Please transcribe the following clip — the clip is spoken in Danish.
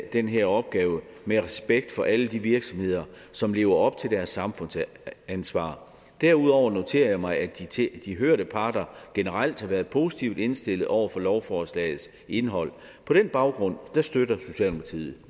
den her opgave med respekt for alle de virksomheder som lever op til deres samfundsansvar derudover noterer jeg mig at de at de hørte parter generelt har været positivt indstillede over for lovforslagets indhold på den baggrund støtter socialdemokratiet